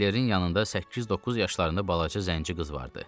Senklerin yanında səkkiz-doqquz yaşlarında balaca zənci qız vardı.